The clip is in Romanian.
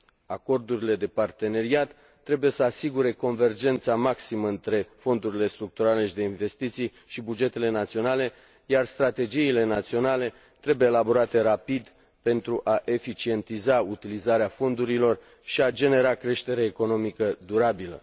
Acordurile de parteneriat trebuie să asigure convergența maximă între fondurile structurale și de investiții și bugetele naționale, iar strategiile naționale trebuie elaborate rapid pentru a eficientiza utilizarea fondurilor și a genera creștere economică durabilă.